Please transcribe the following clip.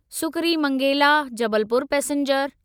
सुकरीमंगेला Jabalpur passenger